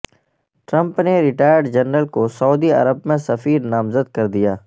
Trump نے retired general کو Saudi عرب میں سفیر نامزد کر دیا